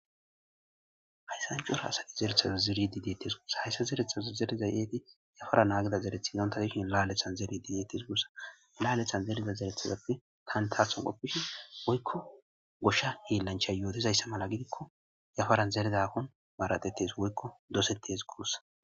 hayssan cura asati zerethaza zeridi deetes guossa hayssa zerethaza zerezay eeti yafara naagida zereth inontadishin La'alethan zeridi deettes guossa laalethan zereza zerethazappe kantaathon qoppishin woykko goshsha heellancha yootizayssa mala gidikko yafaran zerezakon baaratetes woykko dosettes guossa.